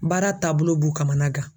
Baara taabolo b'u kamanagan.